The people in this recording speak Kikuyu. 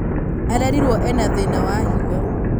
arerirwo ena thĩna wa higo